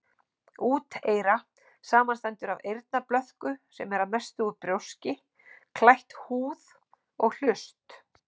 Úteyra samanstendur af eyrnablöðku, sem er að mestu út brjóski, klætt húð, og hlust.